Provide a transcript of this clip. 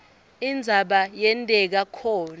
indzaba yenteka khona